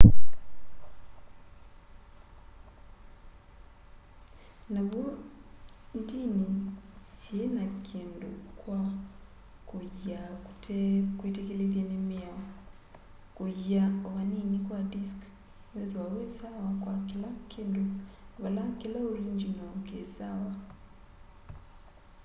na w'o ndini syiina kindu kwa kuyiia kutekwitikilithye ni miao kuyiia o va nini kwa disk nuithwa wi sawa kwa kila kindu vala kila oringyinoo kisawa